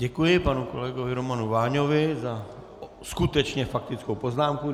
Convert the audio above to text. Děkuji panu kolegovi Romanu Váňovi za skutečně faktickou poznámku.